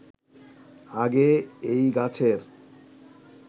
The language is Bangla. আগে এই গাছের